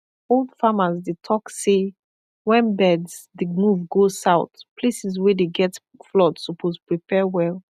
old farmers dey talk say when birds dey move go south places wey dey get flood suppose prepare well